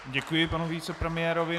Děkuji panu vicepremiérovi.